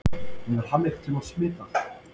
Hefur hann einhverntímann svitnað?